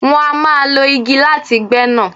Wọ́n a má lo igi láti gbé nà.